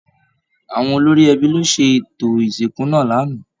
Àwọn olórí ẹbí ló ṣètò ìsìnkú náà l'ana.